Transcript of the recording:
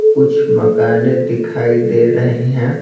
कुछ मकानें दिखाई दे रही हैं।